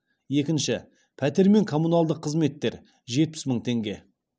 екінші пәтер мен коммуналдық қызметтер жетпіс мың теңге